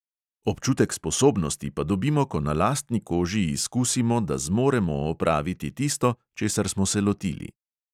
Občutek sposobnosti pa dobimo, ko na lastni koži izkusimo, da zmoremo opraviti tisto, česar smo se lotili.